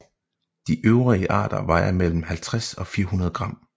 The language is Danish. De øvrige arter vejer mellem 50 og 400 gram